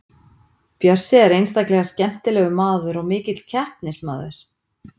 Bjössi er einstaklega skemmtilegur maður og mikill keppnismaður.